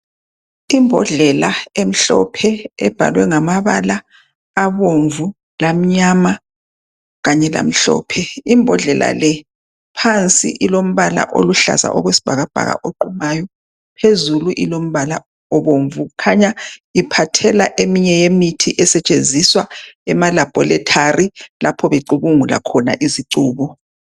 Imbodlela emhlophe ebhalwe ngamabala abomvu lamnyama kanye lamhlophe . Imbodlela le phansi ilombala oluhlaza okwesibhakabhaka oqumayo. Phezulu Ilombala obomvu . Kukhanya iphathela eminye ye mithi esetshenziswa emalaboratory lapho becubungula khona izicubu